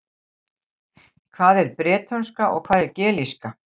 Hvað er bretónska og hvað er gelíska?